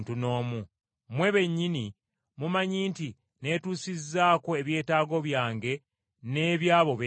Mmwe bennyini mumanyi nti neetuusizaako ebyetaago byange n’eby’abo bendi nabo.